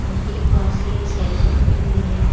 नदी के पास एक साइकल खड़ी हुई है।